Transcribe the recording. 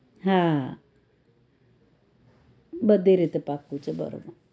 હા બધી રીતે પાક્કું છે બરોબર